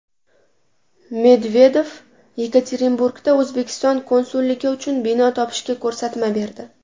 Medvedev Yekaterinburgda O‘zbekiston konsulligi uchun bino topishga ko‘rsatma berdi.